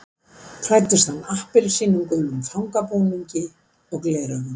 Klæddist hann appelsínugulum fangabúningi og gleraugum